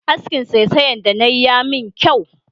Askin saisayan da nayi ya min kyau